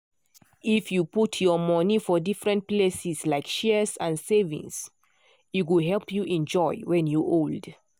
if you put your money for different places like shares and savings e go help you enjoy when you old.